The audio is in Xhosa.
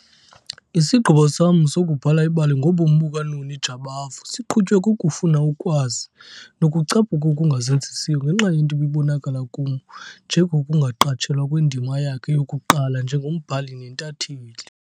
Isigqibo sam sokubhala ibali ngobomi bukaNoni Jabavu siqhutywe kukufuna ukwazi nokucaphuka okungazenzisiyo ngenxa yento ebibonakala kum njengokungaqatshelwa kwendima yakhe yokuqala njengombhali nentatheli.